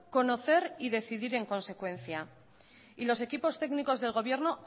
conocer y decidir en consecuencia y los equipos técnicos del gobierno